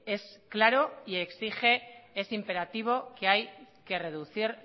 es claro y exige ese imperativo de que hay que reducir